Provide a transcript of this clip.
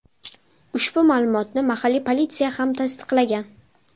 Ushbu ma’lumotni mahalliy politsiya ham tasdiqlagan.